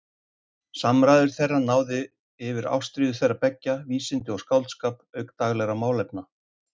Samræður þeirra náðu yfir ástríður þeirra beggja, vísindi og skáldskap auk daglegra málefna.